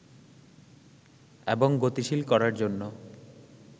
এবং গতিশীল করার জন্য